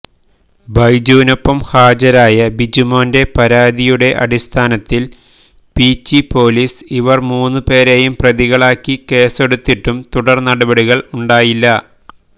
ബൈജുവിനൊപ്പം ഹാജരായ ബിജുമോന്റെ പരാതിയുടെ അടിസ്ഥാനത്തില് പീച്ചി പൊലീസ് ഇവര് മൂന്നു പേരെയും പ്രതികളാക്കി കേസെടുത്തിട്ടും തുടര്നടപടികള് ഉണ്ടായില്ല